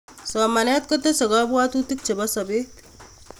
Somanet kotesei kapwatutik Cheboi sobet